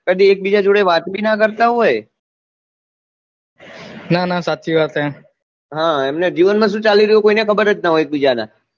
કદી એક બીજા જોડે વાત નહી ના કરતા હોય ના ના સાચી વાત હૈ એમના જીવન માં શું ચાલી રહ્યું હૈ કોઈ ને ખબર જ ના હોય એક બીજા ના